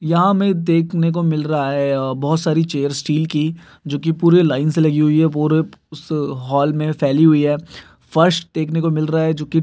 यहाँ हमें देखने को मिल रहा है अ बोहोत सारी चेयर्स स्टील की जो कि पूरे लाइन से लगी हुई हैं। पूरे उस हॉल में फैली हुई है। फर्श देखने को मिल रहा है जो कि --